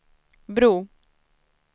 bro